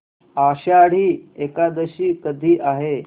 आषाढी एकादशी कधी आहे